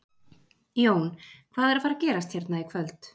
Jón, hvað er að fara að gerast hérna í kvöld?